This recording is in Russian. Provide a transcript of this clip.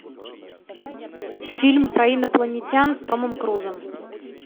фильм про инопланетян с томом крузом